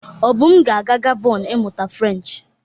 Obum ga-aga Gabon ịmụta Frenchị.